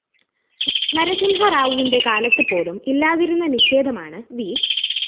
നരസിംഹറാവുവിന്റെ കാലത്ത്‌ പോലും ഇല്ലാതിരുന്ന നിഷേധമാണ്‌ വി